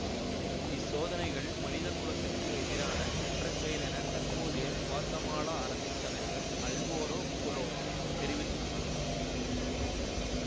இச்சோதனைகள் மனிதகுலத்துக்கு எதிரான குற்றச்செயல் என தற்போதைய குவாத்தமாலா அரசு தலைவர் அல்வேரோ கொலோம் தெரிவித்துள்ளார்